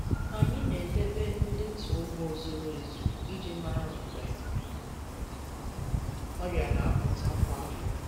Anyị na-edebe ndetu ugbo zuru ezu iji mara mgbe ọrịa na-apụta kwa afọ.